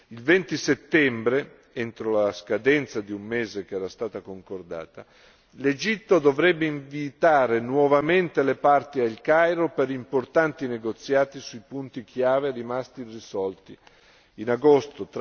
Il 20 settembre entro la scadenza di un mese che era stata concordata l'Egitto dovrebbe invitare nuovamente le parti al Cairo per importanti negoziati sui punti chiave rimasti irrisolti in agosto.